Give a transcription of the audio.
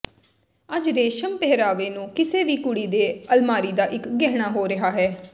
ਅੱਜ ਰੇਸ਼ਮ ਪਹਿਰਾਵੇ ਨੂੰ ਕਿਸੇ ਵੀ ਕੁੜੀ ਦੇ ਅਲਮਾਰੀ ਦਾ ਇੱਕ ਗਹਿਣਾ ਹੋ ਰਿਹਾ ਹੈ